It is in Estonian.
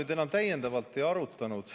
Seda me enam täiendavalt ei arutanud.